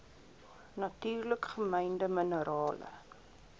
natuurlik gemynde minerale